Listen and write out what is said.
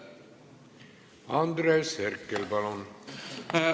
Andres Herkel, palun!